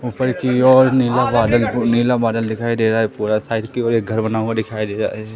ऊपर जिओ और नीला बादल नीला बादल दिखाई दे रहा है थोड़ा साइड के ओर एक घर बना हुआ दिखाई दे रहा है।